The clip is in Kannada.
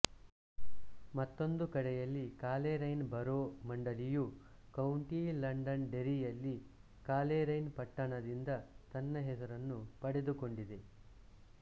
ಮತ್ತೊಂದು ಕಡೆಯಲ್ಲಿ ಕಾಲೇರೈನ್ ಬರೋ ಮಂಡಳಿಯು ಕೌಂಟಿ ಲಂಡನ್ ಡೆರ್ರಿ ಯಲ್ಲಿ ಕಾಲೇರೈನ್ ಪಟ್ಟಣದಿಂದ ತನ್ನ ಹೆಸರನ್ನು ಪಡೆದುಕೊಂಡಿದೆ